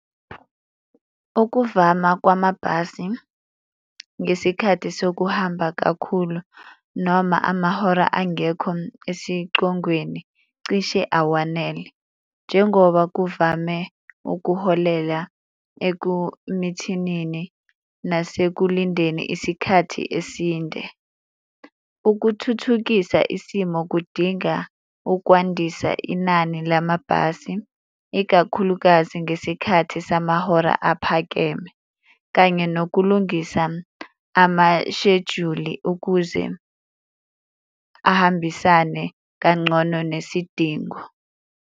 Okuvama kwamabhasi ngesikhathi sokuhamba kakhulu noma amahora angekho esicongweni cishe awanele, njengoba kuvame ukuholela ekumithinini nase ekulindeni isikhathi esinde. Ukuthuthukisa isimo kudinga ukwandisa inani lamabhasi, ikakhulukazi ngesikhathi samahora aphakeme kanye nokulungisa amashejuli ukuze ahambisane kangcono nesidingo.